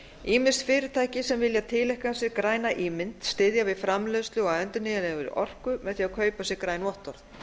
ýmis fyrirtæki sem vilja tileinka sér græna ímynd styðja við framleiðslu á endurnýjanlegri orku með því að kaupa sér ári vottorð